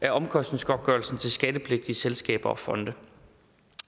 af omkostningsgodtgørelsen til skattepligtige selskaber og fonde